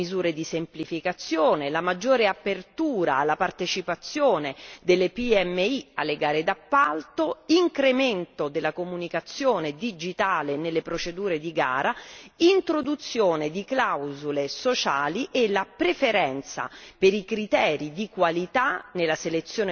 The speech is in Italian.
Tra le novità vi è l'introduzione di nuove misure di semplificazione, la maggiore apertura alla partecipazione delle PMI alle gare d'appalto, l'incremento della comunicazione digitale nelle procedure di gara, l'introduzione di clausole sociali e la preferenza